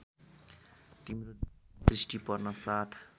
तिम्रो दृष्टि पर्नासाथ